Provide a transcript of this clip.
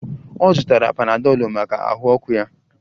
Ọ zụtara panadọlụ maka ahụ ọkụ ya